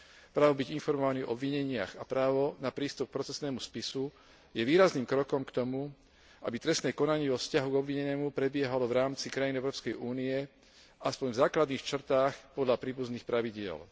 Právo byť informovaný o obvineniach a právo na prístup k procesnému spisu je výrazným krokom k tomu, aby trestné konanie vo vzťahu k obvinenému prebiehalo v rámci krajín Európskej únie aspoň v základných črtách podľa príbuzných pravidiel.